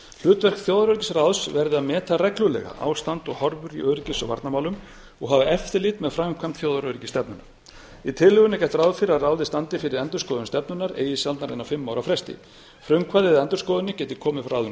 hlutverk þjóðaröryggisráðs verði að meta reglulega ástand og horfur í öryggis og varnarmálum og hafa eftirlit með framkvæmd þjóðaröryggisstefnunnar í tillögunni er gert ráð fyrir að ráðið standi fyrir endurskoðun stefnunnar eigi sjaldnar en á fimm ára fresti frumkvæðið að endurskoðun skyldi komið frá þeim